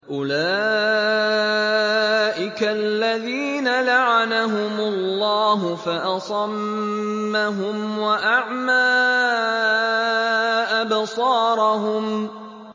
أُولَٰئِكَ الَّذِينَ لَعَنَهُمُ اللَّهُ فَأَصَمَّهُمْ وَأَعْمَىٰ أَبْصَارَهُمْ